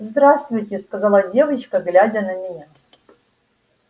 здравствуйте сказала девочка глядя на меня